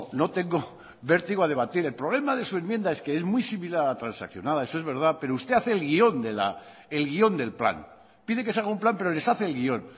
no tengo vertido a debatir el problema de su enmienda es que es muy similar a la transaccionada eso es verdad pero usted hace el guión del plan pide que se haga un plan pero les hace el guión